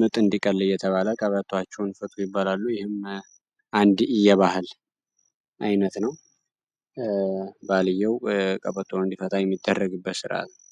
ምጥ እንዲቀል እየተባለ ቀበቶዋቸውን ፍቱ ይባላል ይህም አንድ የባህል አይነት ነው እንዲፈታ የሚደረግበት ስርአት ነው።